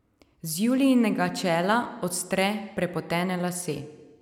Z Julijinega čela odstre prepotene lase.